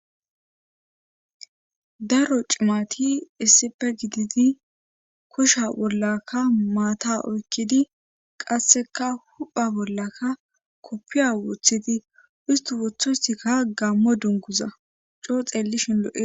Daro cimati isseppe gididi kosha bollaka maata oykkidi qasseka hupha bollaka koppiya wothidi ustu wothosikka gammo dunguza coo xeellishin lo'e.